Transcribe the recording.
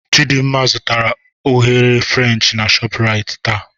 Chidimma zụtara eghereghe French na Shoprite taa.